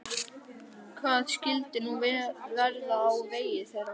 Hvað skyldi nú verða á vegi þeirra?